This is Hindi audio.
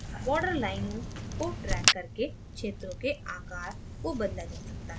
बॉर्डर लाइनों को ड्रैग करके क्षेत्रों के आकार को बदला जा सकता है